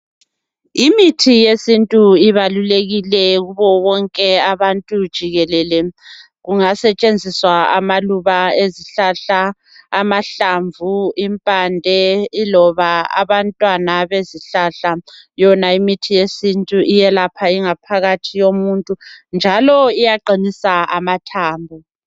Imithi yesintu ibalulekile kubo bonke abantu jikelele. Kungasetshenziswa amaluba ezihlahla, amahlamvu, impande loba abantwana bezihlahla. Yona imithi yesintu iyelapha ingaphakathi yomuntu njalo iyaqinisa amathambo.